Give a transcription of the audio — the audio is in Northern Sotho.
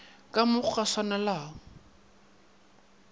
ka mo go sa swanelago